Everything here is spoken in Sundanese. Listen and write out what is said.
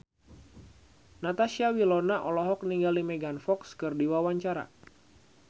Natasha Wilona olohok ningali Megan Fox keur diwawancara